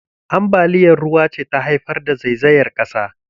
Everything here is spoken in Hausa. Ambaliyar ruwa ce ta haifar da zaizayar ƙasa.